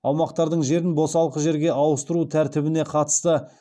аумақтардың жерін босалқы жерге ауыстыру тәртібіне қатысты